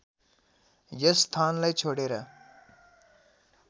यस स्थानलाई छोडेर